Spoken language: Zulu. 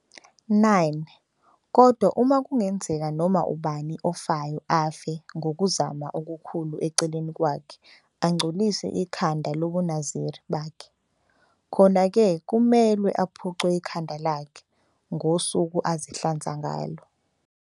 9 Kodwa uma kungenzeka noma ubani ofayo afe ngokuzuma okukhulu eceleni kwakhe angcolise ikhanda lobuNaziri bakhe, khona-ke kumelwe aphuce ikhanda lakhe ngosuku azihlanza ngalo.